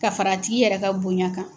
Ka fara a tigi yɛrɛ ka bonɲa kan.